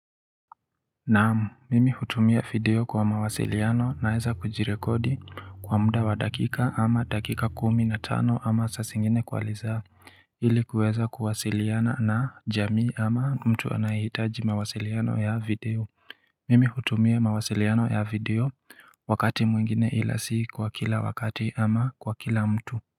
Naam mimi hutumia video kwa mawasiliano naweza kujirekodi kwa muda wa dakika ama dakika kumi na tano ama saa zingine kwa ili kuweza kuwasiliana na jamii ama mtu anayehitaji mawasiliano ya video Mimi hutumia mawasiliano ya video wakati mwingine ila si kwa kila wakati ama kwa kila mtu.